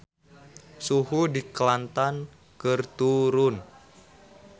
Suhu di Kelantan keur turun